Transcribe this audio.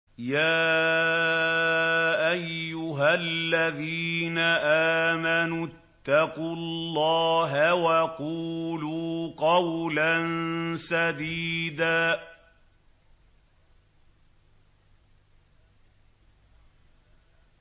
يَا أَيُّهَا الَّذِينَ آمَنُوا اتَّقُوا اللَّهَ وَقُولُوا قَوْلًا سَدِيدًا